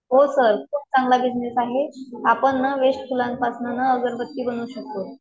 हो सर खूप चांगला बिझनेस आहे, आपण ना वेस्ट फुलांपासन ना अगरबत्ती बनवू शकतो.